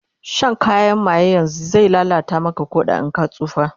Shan kayan maye yanzun zai lallata Maka Ƙoda in ka tsufa